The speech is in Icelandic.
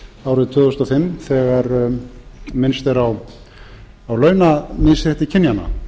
árið tvö þúsund og fimm þegar minnst er á launamisrétti kynjanna